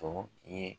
Tɔ ye